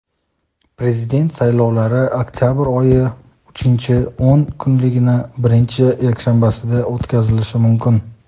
Prezident saylovlari oktyabr oyi uchinchi o‘n kunligining birinchi yakshanbasida o‘tkazilishi mumkin.